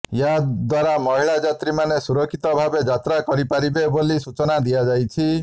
ଏହା ଦ୍ୱାରା ମହିଳା ଯାତ୍ରୀ ମାନେ ସୁରକ୍ଷିତ ଭାବେ ଯାତ୍ରା କରିପାରିବେ ବୋଲି ସୁଚନା ଦିଆଯାଇଛି